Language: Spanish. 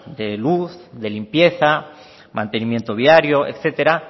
de luz de limpieza mantenimiento diario etcétera